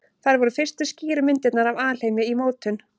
Þær voru fyrstu skýru myndirnar af alheimi í mótun.